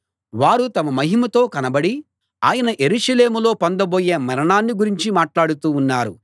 వారు తమ మహిమతో కనపడి ఆయన యెరూషలేములో పొందబోయే మరణాన్ని గురించి మాట్లాడుతూ ఉన్నారు